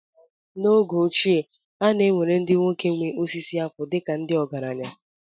N’oge ochie, a na-ewere ndị nwoke nwe osisi akwụ dịka ndị ọgaranya